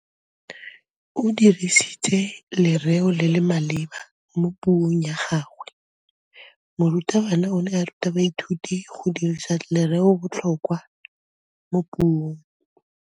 O dirisitse lerêo le le maleba mo puông ya gagwe. Morutabana o ne a ruta baithuti go dirisa lêrêôbotlhôkwa mo puong.